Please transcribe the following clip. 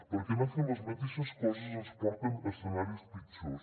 perquè anar fent les mateixes coses ens porta a escenaris pitjors